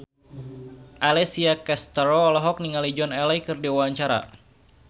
Alessia Cestaro olohok ningali Joan Allen keur diwawancara